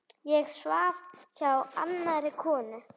Það kostar átök að lifa.